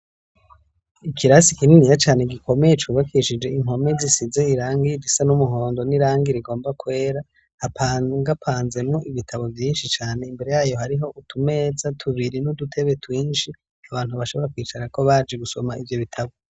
Ikirasi kininiya cane gikomeye cubakishije inkome zisize irangirisa n'umuhondo n'irangi rigomba kwera hapanga ngapanze mu ibitabo vyinshi cane imbere yayo hariho utumetsa tubiri n'udutebe twinshi abantu bashobora kwicara ko baje gusoma ivyo bitabo.